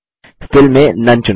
fill में none चुनें